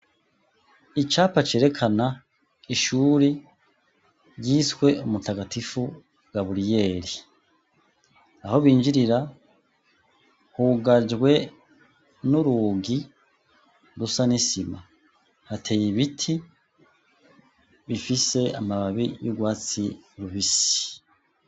Icapa cerekana ishuri ryiswe umutagatifu Gaburiyeli, aho binjirira hugajwe n'urugi rusa n'isima, hateye ibiti bifise amababi y'urwatsi rubisi.